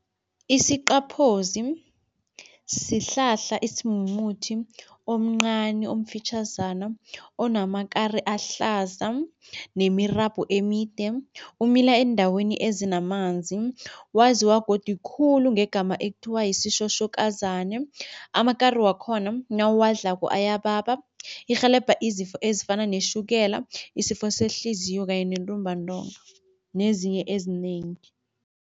Isiqaphozi sihlahla esimumuthi omncani omfitjhazana, onamakari ahlaza nemirabho emide. Umila eendaweni ezinamanzi, waziwa godi khulu ngegama ekuthiwa yisitjhotjhokazani. Amakari wakhona nawudlako ayababa. Irhelebha izifo ezifana netjhukela, isifo sehliziyo kanye nentumbantonga nezinye ezinengi.